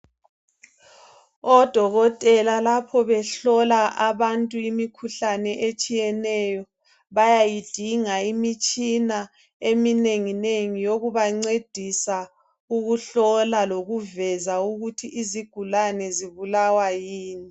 Odokotela lapho behlola abantu imikhuhlane etshiyeneyo bayayidinga imitshina eminenginengi yokubancedisa ukuhlola lokuveza ukuthi izigulane zibulawa yini.